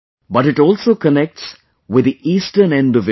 But it also connects with the eastern end of India